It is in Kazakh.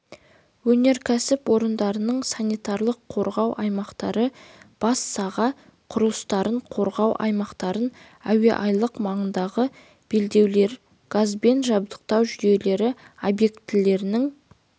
өнеркәсіп орындарының санитарлық-қорғау аймақтары бас саға құрылыстарын қорғау аймақтары әуеайлақ маңындағы белдеулер газбен жабдықтау жүйелері объектілерінің